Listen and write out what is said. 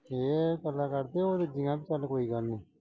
ਇਹ ਭਲਾ ਕਰਦੇ, ਉਹ ਰੱਜਿਆ ਚੱਲ ਕੋਈ ਗੱਲ ਨਈਂ।